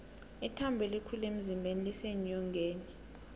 ithambo elikhulu emzimbeni liseenyongeni